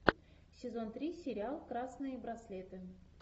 сезон три сериал красные браслеты